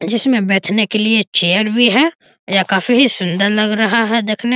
जिसमे बैठने के लिए चेयर भी है यह काफी ही सुन्दर लग रहा है देखने --